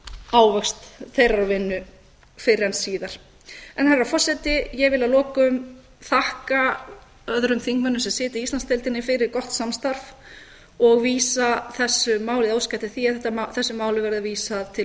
ávöxt þeirrar vinnu fyrr en síðar herra forseti ég vil að lokum þakka öðrum þingmönnum sem sitja í íslandsdeildinni fyrir gott samstarf og óska eftir því að þessu máli verði vísað til